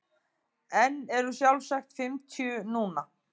En eru sjálfsagt fimmtíu núna.